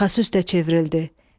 Arxası üstə çevrildi.